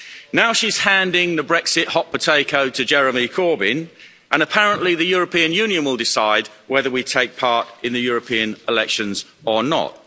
Now she's handing the Brexit hot potato to Jeremy Corbyn, and apparently the European Union will decide whether we take part in the European elections or not.